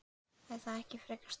Er það ekki frekar sterkt?